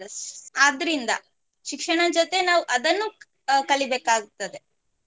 ಸ್~ ಆದ್ರಿಂದ ಶಿಕ್ಷಣ ಜೊತೆ ನಾವು ಅದನ್ನು ಅ~ ಕಲಿಬೇಕಾಗ್ತದೆ.